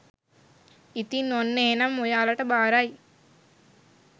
ඉතින් ඔන්න එහෙනම් ඔයාලට බාරයි